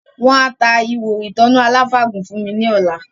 Wọ́n á ta “ihò ìtanná aláfàgùn” fún mi ní ọlá